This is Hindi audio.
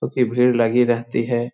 क्यूंकि भीड़ लगी रहती है ।